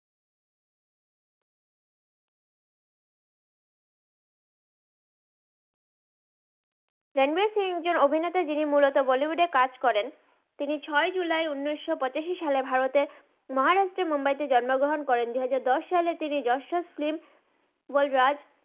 রানবির সিংহ একজন অভিনেতা জিনি মুলত বলিউড এ কাজ করেন তিনি ছই জুলাই উনিস পচাসি সালে ভারতের মাহারাস্ত্রের মুম্বাই তে জন্ম গ্রাহান করে দু হাজার দস সালে তিনি দারশান সিংহ বুল রাজ